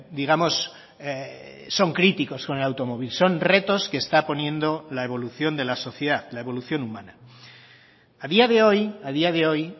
digamos son críticos con el automóvil son retos que está poniendo la evolución de la sociedad la evolución humana a día de hoy a día de hoy